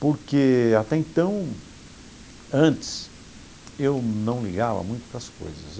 Porque até então, antes, eu não ligava muito para as coisas.